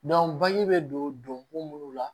bagi bɛ don ko munnu la